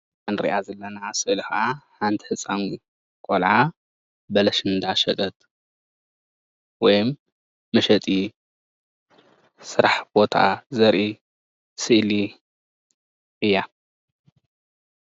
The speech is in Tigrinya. እዛ እንሪኣ ዘለና ስእሊ ከዓ ሓንቲ ህፃን ቆልዓ በለስ እንዳሸጠት ወይም መሸጢ ስራሕ ቦታ ዘርኢ ስእሊ እያ፡፡